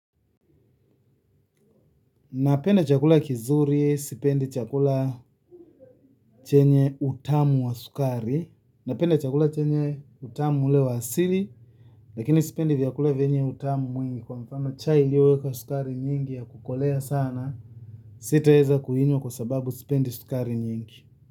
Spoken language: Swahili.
Napenda chakula kizuri, sipendi chakula chenye utamu wa sukari napenda chakula chenye utamu ule wa asili. Lakini sipendi vyakula vyenye utamu mwingi. Kwa mfano cha iliyowekwa sukari nyingi ya kukolea sana. Sitaeza kuinywa kwa sababu sipendi sukari nyingi.